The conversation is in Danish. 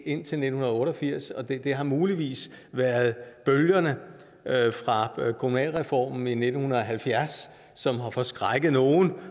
indtil nitten otte og firs det har muligvis været bølgerne fra kommunalreformen i nitten halvfjerds som har forskrækket nogle